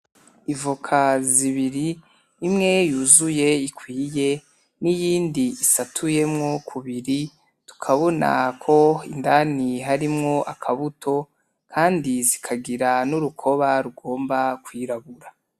Ivoka zibiri, imwe yuzuye ikwiye n'iyindi isatuyemwo kubiri, tukabonako indani harimwo akabuto kandi zikagira n'urukoba rugomba kwirabura.